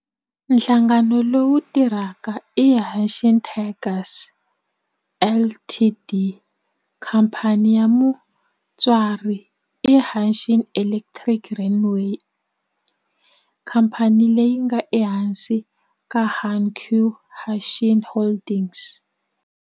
Nhlangano lowu tirhaka i Hanshin Tigers Co., Ltd. Khamphani ya mutswari i Hanshin Electric Railway, khamphani leyi nga ehansi ka Hankyu Hanshin Holdings.